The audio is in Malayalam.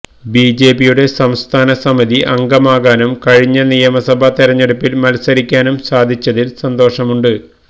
ബിജെപിയുടെ സംസ്ഥാന സമിതി അംഗമാകാനും കഴിഞ്ഞ നിയമസഭ തെരഞ്ഞെടുപ്പില് മത്സരിക്കാനും സാധിച്ചതില് സന്തോഷമുണ്ട്